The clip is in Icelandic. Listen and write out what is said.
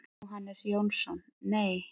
Jóhannes Jónsson: Nei.